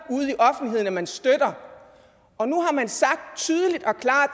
ude at man støtter og nu har man sagt tydeligt og klart